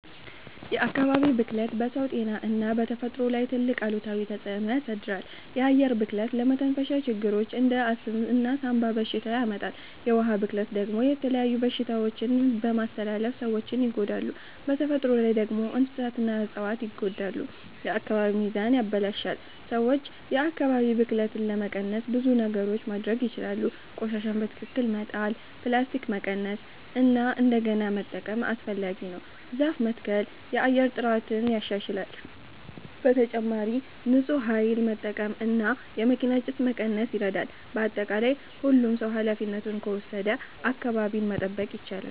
የአካባቢ ብክለት በሰው ጤና እና በተፈጥሮ ላይ ትልቅ አሉታዊ ተፅዕኖ ያሳድራል። የአየር ብክለት ለመተንፈሻ ችግሮች እንደ አስም እና ሳንባ በሽታ ያመጣል። የውሃ ብክለት ደግሞ የተለያዩ በሽታዎችን በመተላለፍ ሰዎችን ይጎዳል። በተፈጥሮ ላይ ደግሞ እንስሳትና እፅዋት ይጎዳሉ፣ የአካባቢ ሚዛንም ይበላሽታል። ሰዎች የአካባቢ ብክለትን ለመቀነስ ብዙ ነገሮች ማድረግ ይችላሉ። ቆሻሻን በትክክል መጣል፣ ፕላስቲክን መቀነስ እና እንደገና መጠቀም (recycle) አስፈላጊ ነው። ዛፍ መትከል የአየር ጥራትን ያሻሽላል። በተጨማሪም ንፁህ ኃይል መጠቀም እና የመኪና ጭስ መቀነስ ይረዳል። በአጠቃላይ ሁሉም ሰው ኃላፊነቱን ከወሰደ አካባቢን መጠበቅ ይቻላል።